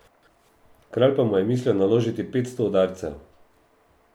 Kralj pa mu je mislil naložiti petsto udarcev.